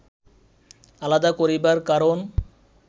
আলাদা করিবার কারণ